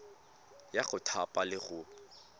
ya go thapa le go